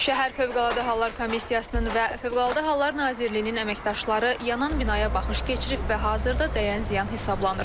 Şəhər Fövqəladə Hallar Komissiyasının və Fövqəladə Hallar Nazirliyinin əməkdaşları yanan binaya baxış keçirib və hazırda dəyən ziyan hesablanır.